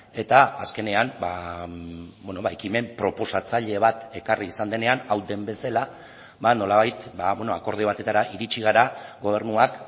eta azkenean ekimen proposatzaile bat ekarri izan denean hau den bezala nolabait akordio batetara iritsi gara gobernuak